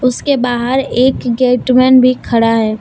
उसके बाहर एक गेटमैन भी खड़ा है।